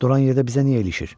Duran yerdə bizə niyə ilişir?